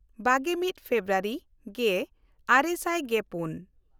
ᱵᱟᱜᱮᱼᱢᱤᱫ February ᱜᱮᱼᱟᱨᱮ ᱥᱟᱭ ᱜᱮᱯᱩᱱ